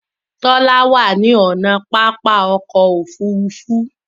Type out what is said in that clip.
Tola wá ní ọnà pápá ọkọ̀ òfurufú.